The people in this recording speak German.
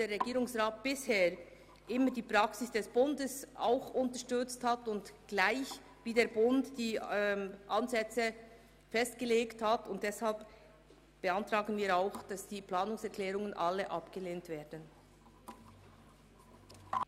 Der Regierungsrat hat bisher immer die Praxis des Bundes unterstützt und die Ansätze ebenso festgelegt wie der Bund.